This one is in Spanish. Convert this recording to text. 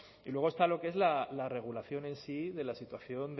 y luego está lo que es la regulación en sí de la situación